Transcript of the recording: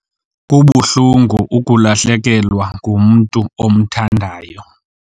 Kubuhlungu ukulahlekelwa ngumntu omthandayo.